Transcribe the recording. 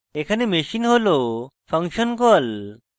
এখানে machine হল function call